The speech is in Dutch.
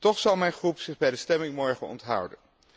Toch zal mijn fractie zich bij de stemming morgen onthouden.